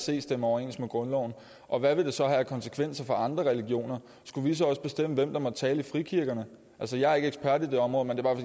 se stemmer overens med grundloven og hvad ville det så have af konsekvenser for andre religioner skulle vi så også bestemme hvem der måtte tale i frikirkerne jeg er ikke ekspert i det område men